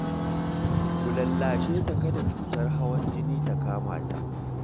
Ku lallashe ta kada cutar hawan jini ta kama ta